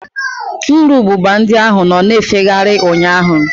Nru ububa ndị ahụ nọ na-efegharị ụnyaahụ.